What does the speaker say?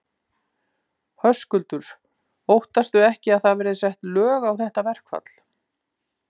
Höskuldur: Óttastu ekki að það verði sett lög á þetta verkfall?